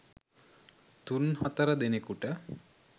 තුන් හතර දෙනෙකුට